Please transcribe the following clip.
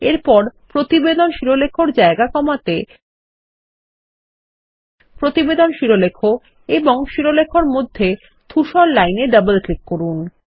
এরপর প্রতিবেদনশিরলেখ এরজায়গা কমাতে প্রতিবেদন শিরোলেখ এবং শিরোলেখ এরমধ্যে ধূসর লাইন এডবল ক্লিক করুন